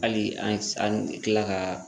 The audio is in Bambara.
Hali an bɛ tila ka